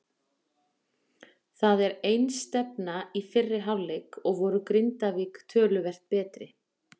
Það var einstefna í fyrri hálfleik og voru Grindavík töluvert betri.